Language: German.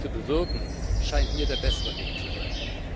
zu bewirken, scheint mir der bessere Weg zu sein.